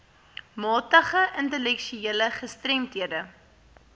matige intellektuele gestremdhede